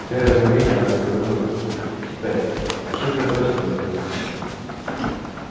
в первое мгновение она заподозрила тётушку питтипэт но тут же отбросила эту мысль